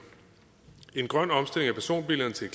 en grøn omstilling af personbilerne til